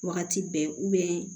Wagati bɛɛ